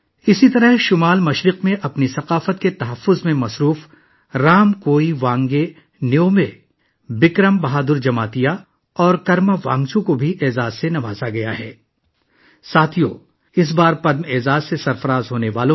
اسی طرح، رامکویوانگبے نیومے، بکرم بہادر جماعتیہ اور کرما وانگچو کو، جو شمال مشرق میں اپنی ثقافت کے تحفظ میں مصروف ہیں، بھی اعزاز سے نوازا گیا ہے